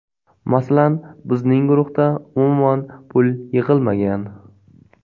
Masalan, bizning guruhda umuman pul yig‘ilmagan.